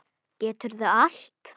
Geturðu allt?